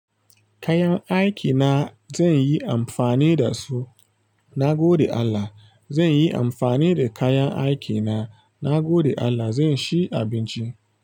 Kayan aikina zan yi amfani da su, na gode Allah. Zan yi amfani da kayan aikina, na gode Allah zan shi abinci.